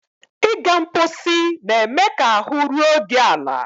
Ịga mposi na-eme ka ahụ́ ruo gị ala.